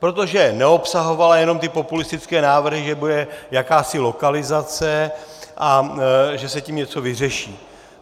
Protože neobsahovala jenom ty populistické návrhy, že bude jakási lokalizace a že se tím něco vyřeší.